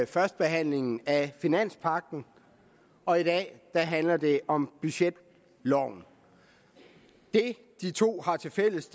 førstebehandling af finanspagten og i dag handler det om budgetloven det de to har tilfælles